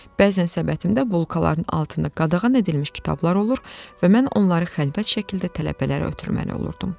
Bəzən səbətimdə bulkaların altında qadağan edilmiş kitablar olurdu və mən onları xəlvət şəkildə tələbələrə ötürən olurdum.